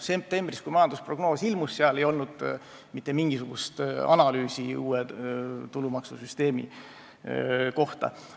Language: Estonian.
Septembris, kui majandusprognoos ilmus, ei olnud seal aga mitte mingisugust analüüsi uue tulumaksusüsteemi kohta.